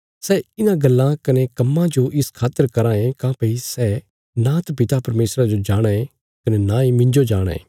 सै इन्हां गल्लां कने कम्मां जो इस खातर कराँ ये काँह्भई सै नांत पिता परमेशरा जो जाणाँ ये कने नांई मिन्जो जाणाँ ये